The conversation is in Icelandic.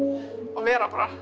og vera bara